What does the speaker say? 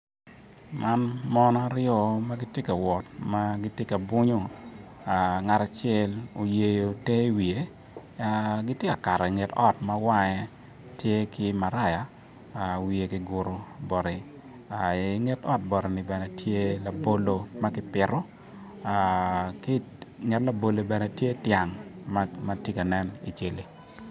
Man mon aryo ma gitye ka wot ma gitye ka bwonyo ngat acel oyeyo te iwiye gitye ka Kato inget ot ma wange tye maraya wiye kiguro bati inget ot batini bene tye labolo ma kipito inget labolo bene tye tyang ma tye ka nen icali